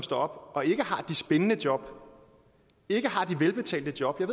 står op og ikke har de spændende job ikke har de velbetalte job jeg